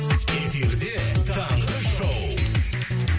эфирде таңғы шоу